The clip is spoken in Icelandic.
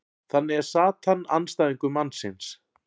þannig er satan andstæðingur mannsins